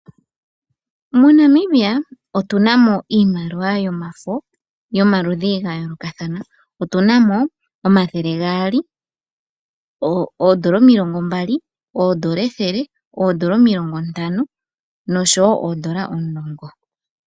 MoNamibia otunamo iimaliwa yomafo yomaludhi gayoolokathana otunamo omathele gaali, oondola omilongo mbali, oondola ethele, oondola omilongo ntano osho woo oondoola omulongo.